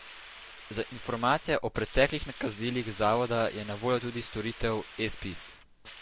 Za informacije o preteklih nakazilih zavoda je na voljo tudi storitev eZPIZ.